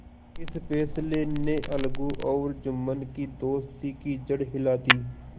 इस फैसले ने अलगू और जुम्मन की दोस्ती की जड़ हिला दी